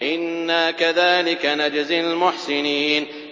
إِنَّا كَذَٰلِكَ نَجْزِي الْمُحْسِنِينَ